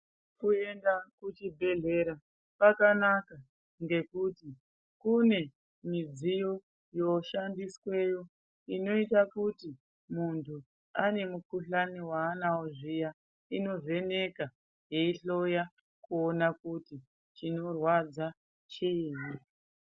Kuenda kuchibhedhlera kwakanaka, ngekuti kune midziyo yoshandisweyo, inoita kuti muntu ane mukhuhlani waanawo zviya inovheneka yeihloya yeiona kuti chinorwadza chiini.